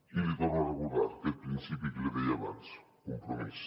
i li torno a recordar aquest principi que li deia abans compromís